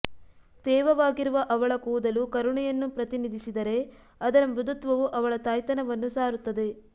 ತೇವವಾಗಿರುವ ಅವಳ ಕೂದಲು ಕರುಣೆಯನ್ನು ಪ್ರತಿನಿಧಿಸಿದರೆ ಅದರ ಮೃದುತ್ವವು ಅವಳ ತಾಯ್ತನವನ್ನು ಸಾರುತ್ತದೆ